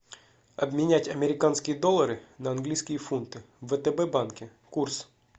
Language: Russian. обменять американские доллары на английские фунты в втб банке курс